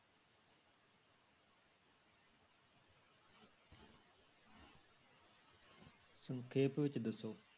ਸੰਖੇਪ ਵਿੱਚ ਦੱਸੋ।